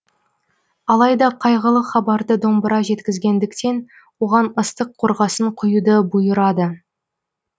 алайда қайғылы хабарды домбыра жеткізгендіктен оған ыстық қорғасын құюды бұйырады